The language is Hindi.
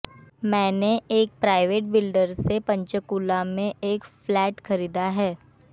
मैंने एक प्राइवेट बिल्डर से पंचकूला में एक फ्लैट खरीदा है